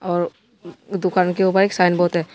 और दुकान के ऊपर एक साइन बोर्ड है।